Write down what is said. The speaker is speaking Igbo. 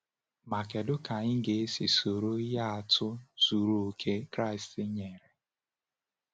Ma kedu ka anyị ga-esi soro ihe atụ zuru oke Kraịst nyere?